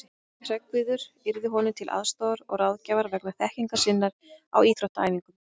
Hreggviður yrði honum til aðstoðar og ráðgjafar vegna þekkingar sinnar á íþróttaæfingum.